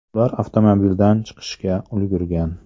Ular avtomobildan chiqishga ulgurgan.